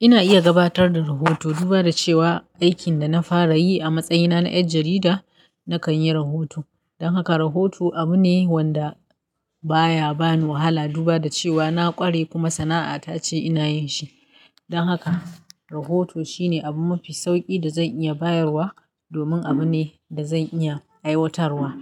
Ina iya gabatar da rahoto duba da cewa aikin da na fara yi a matsayina na 'yar jarida nakan yi rahoto. Don haka rahoto abu ne wanda baya bani wahala duba da cewa na ƙware kuma sana'a ta ce ina yin shi. Don haka rahoto shi ne abu mafi sauƙi da zan iya bayarwa domin abu ne da zan iya aiwatarwa.